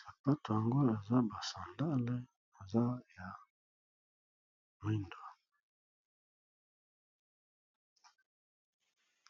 sapato yango eza ba sandale eza ya mwindu.